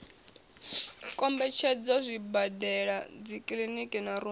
kombetshedza zwibadela dzikiliniki na rumu